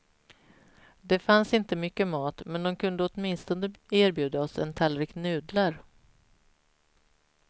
Det fanns inte mycket mat men de kunde åtminstone erbjuda oss en tallrik nudlar.